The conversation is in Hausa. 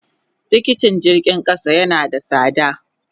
Tikiti jirgin kasa yana da sada.